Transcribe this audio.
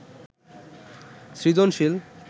সৃজনশীল